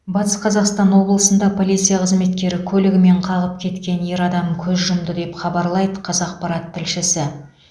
батыс қазақстан облысында полиция қызметкері көлігімен қағып кеткен ер адам көз жұмды деп хабарлайды қазақпарат тілшісі